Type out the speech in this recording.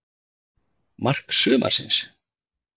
Mark sumarsins?